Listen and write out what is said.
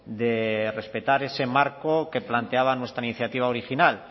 de respetar ese marco que planteaba nuestra iniciativa original